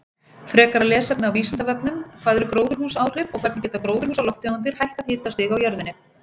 Frekara lesefni á Vísindavefnum: Hvað eru gróðurhúsaáhrif og hvernig geta gróðurhúsalofttegundir hækkað hitastig á jörðinni?